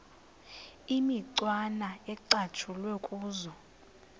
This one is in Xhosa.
imicwana ecatshulwe kuzo